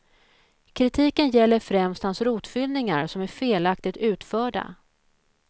Kritiken gäller främst hans rotfyllningar, som är felaktigt utförda.